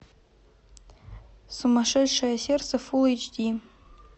сумасшедшее сердце фулл эйч ди